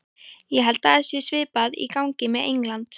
Ég held að það sé svipað í gangi með England.